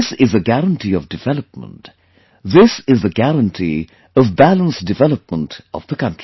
This is a guarantee of development; this is the guarantee of balanced development of the country